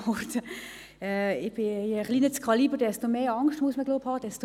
Je kleiner das Kaliber, desto mehr Angst muss man haben, so glaube ich.